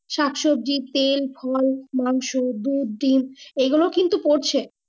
শাক, সবজি, তেল, খোল, মাংস, দুধ, ডিম, এগুলো কিন্তু পড়ছে।